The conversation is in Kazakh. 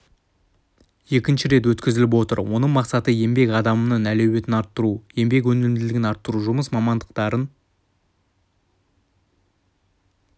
екінші рет өткізіліп отыр оның мақсаты еңбек адаманының әлеуетін арттыру еңбек өнімділігін арттыру жұмыс мамандықтарын